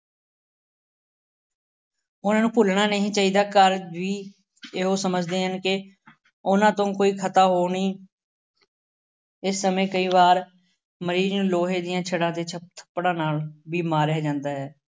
ਹੁਣ ਇਹਨੂੰ ਭੁੱਲਣਾ ਨਹੀਂ ਚਾਹੀਦਾ। ਘਰ ਵੀ ਇਹੋ ਸਮਝਦੇ ਹਨ ਕਿ ਉਹਨਾ ਤੋਂ ਕੋਈ ਖਤਾ ਹੋਣੀ ਇਸ ਸਮੇਂ ਕਈ ਵਾਰ ਮਰੀਜ਼ ਨੂੰ ਲੋਹੇ ਦੀਆਂ ਛੜਾਂ ਅਤੇ ਛੱਪ ਥੱਪੜਾਂ ਨਾਲ ਵੀ ਮਾਰਿਆਂ ਜਾਂਦਾ ਹੈ।